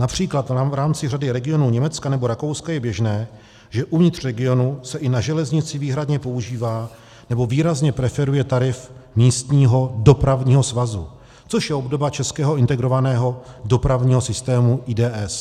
Například v rámci řady regionů Německa nebo Rakouska je běžné, že uvnitř regionu se i na železnici výhradně používá, nebo výrazně preferuje tarif místního dopravního svazu, což je obdoba českého integrovaného dopravního systému, IDS.